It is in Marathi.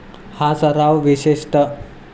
हा सराव विशेषतः.